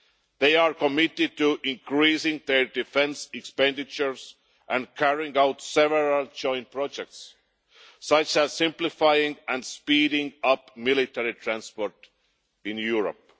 They are committed to increasing their defence expenditure and carrying out several joint projects such as simplifying and speeding up military transport in Europe.